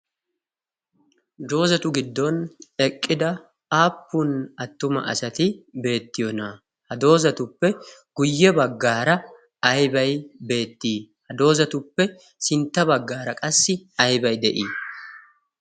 Doozatu giddon eqqida aappun attuma asati beettiyona. ha doozatuppe guyye baggaara aybay beettii? ha doozatuppe sintta baggaara qassi ayba de'ii?